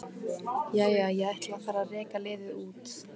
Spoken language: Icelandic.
Jæja, ég ætla að fara að reka liðið út.